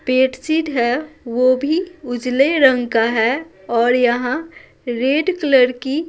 bedsheet है वो भी उजले रंग का है और यहाँ रेड कलर की--